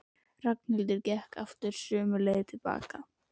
Ragnhildur gekk aftur sömu leið tilbaka.